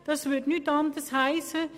Sie wohnen in Ostermundigen.